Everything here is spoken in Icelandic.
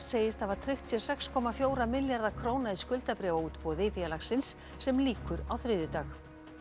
segist hafa tryggt sér sex komma fjóra milljarða króna í skuldabréfaútboði félagsins sem lýkur á þriðjudag